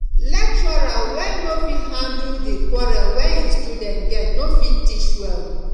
lecturer wey no fit handle di quarrel wey im student get no go fit teach well